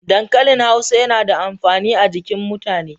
Dankalin Hausa yana da amfani a jikin mutane.